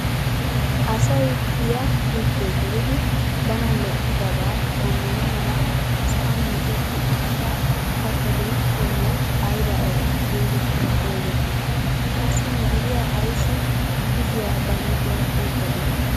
Asay giyaa giddo gelidi bana lo"idabaa shammana mala sa'aan micetti uttida kattatu qommoy aybaa aybaa getetti xegettii? Qassi mishiriyaa ayssi kushiyaa ba huuphphiyaan wottadee?